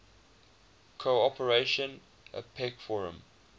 cooperation apec forum